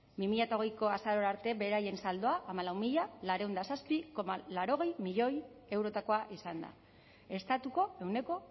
bi mila hogeiko azaroa arte beraien saldoa hamalau mila laurehun eta zazpi koma laurogei milioi eurotako izan da estatuko ehuneko